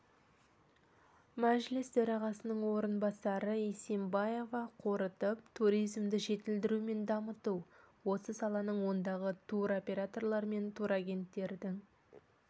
мәжіліс төрағасының орынбасары исимбаева қорытып туризмді жетілдіру мен дамыту осы саланың ондағы туроператорлар мен турагенттердің